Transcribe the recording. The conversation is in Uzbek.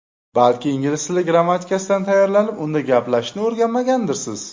Balki ingliz tili grammatikasidan tayyorlanib, unda gaplashishni o‘rganmagandirsiz?